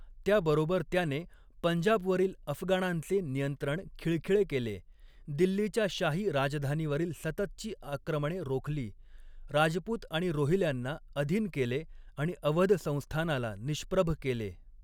त्या बरोबर त्याने पंजाबवरील अफगाणांचे नियंत्रण खिळखिळे केले, दिल्लीच्या शाही राजधानीवरील सततची आक्रमणे रोखली, राजपुत आणि रोहिल्यांना अधीन केले आणि अवध संस्थानाला निष्प्रभ केले.